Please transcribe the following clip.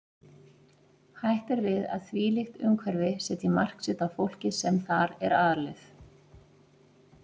Hætt er við að þvílíkt umhverfi setji mark sitt á fólkið sem þar er alið.